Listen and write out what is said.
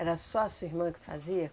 Era só a sua irmã que fazia?